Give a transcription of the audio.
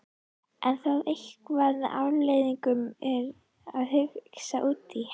Er það eitthvað sem Alfreð er að hugsa út í?